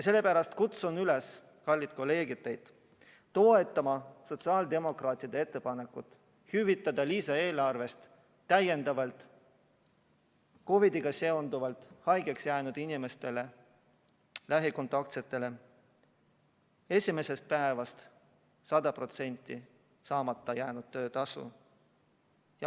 Sellepärast kutsun teid, kallid kolleegid, üles toetama sotsiaaldemokraatide ettepanekut hüvitada lisaeelarvest täiendavalt COVID-iga seonduvalt koju jäänud inimestele esimesest päevast 100% saamata jäänud töötasu.